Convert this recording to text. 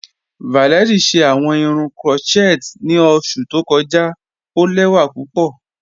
Valérie ṣẹ awọn irun crotchet ni oṣù tó kọja, o lẹwa pupọ.